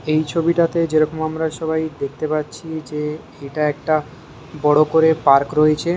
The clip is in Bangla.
এই ছবিটাতে যেরকম আমরা সবাই দেখতে পাচ্ছি যে এটা একটা বড়ো করে পার্ক রয়েছে।